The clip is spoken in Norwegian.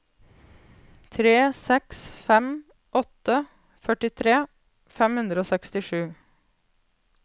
tre seks fem åtte førtitre fem hundre og sekstisju